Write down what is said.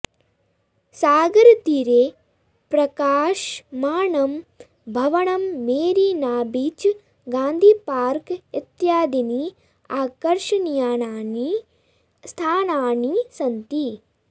सागरतीरे प्रकाशमानं भवनं मेरिनाबीच् गान्धीपार्क इत्यादीनि आकर्षणीयानि स्थानानि सन्ति